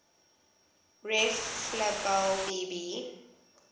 reflabel b b